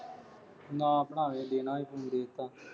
ਨਾ ਬਣਾਵੇ ਦੇਣਾ ਸੀ ਉਹਨੂੰ ਦੇਤਾ।